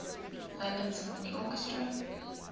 london symphony orchestra